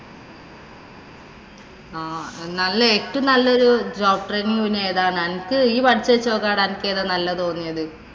ആഹ് നല്ല ഏറ്റവും നല്ല ഒരു job training എന്ന് പറയുന്നത് ഏതാ. നിനക്ക് നല്ല തോന്നിയത്.